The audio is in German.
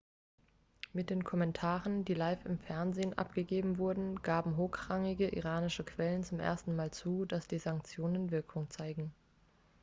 mit den kommentaren die live im fernsehen abgegeben wurden gaben hochrangige iranische quellen zum ersten mal zu dass die sanktionen wirkung zeigen.x